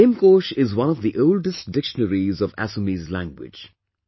Hemkosh is one of the oldest dictionaries of Assamese language